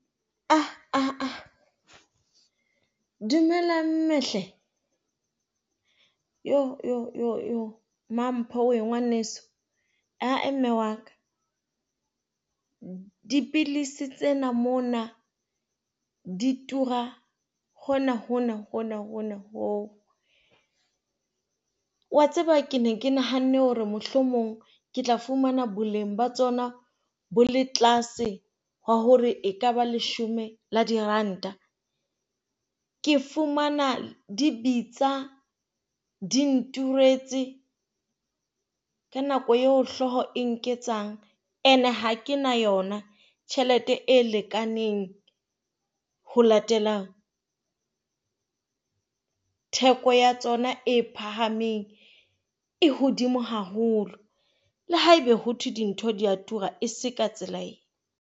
Ah ah! Dumela mme hle. Iyoo iyoo. Mampho wee ngwaneso, a e mme wa ka. Dipidisi tsena mona di tura hona hona hona hona hoo. O a tseba ke ne ke nahanne hore mohlomong ke tla fumana boleng ba tsona bo le tlase ba hore ekaba leshome la diranta. Ke fumana di bitsa di nturetse ka nako eo hlooho e nketsang. Ene ha ke na yona tjhelete e lekaneng ho latela theko ya tsona e phahameng e hodimo haholo. Le haebe ho thwe dintho di a tura, e seng ka tsela ena.